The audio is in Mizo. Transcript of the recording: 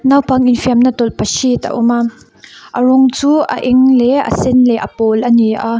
naupang infiamna tawlhpahrit a awm a a rawng chu a eng leh a sen leh a pawl a ni a.